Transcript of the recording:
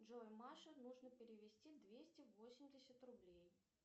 джой маше нужно перевести двести восемьдесят рублей